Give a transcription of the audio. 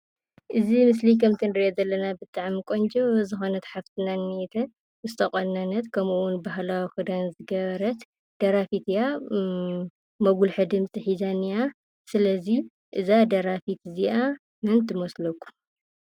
እዚ ምስሊ ከምቲ ንሪኦ ዘለና ብጣዕሚ ቆንጆ ዝኮነት ሓፍትና እኒህተት። ዝተቆነነት ከመኡ እውን ባህላዊ ክዳን ዝገበረት ደራፊት እያ። መጉሊሒ ድምፂ ሒዛ እኒሃ። ስለ እዚ እዛ ደራፊት እዚአ መን ትመስለኩም?